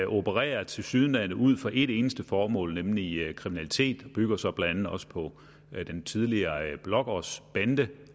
opererer tilsyneladende ud fra et eneste formål nemlig kriminalitet og bygger så blandt andet også på den tidligere blågårdsbande